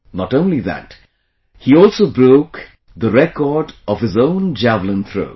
Not only that, He also broke the record of his own Javelin Throw